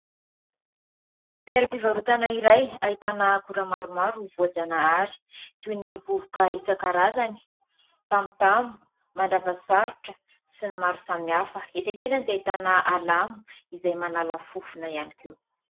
Teoram-pivarotana iray ahitana akora maromaro voajanahary toy ny: vovoka isan-karazany, tamotamo, mandravasarotra sy ny maro samihafa. Etsy akilany dia ahitana alamo izay manala fofona ihany koa.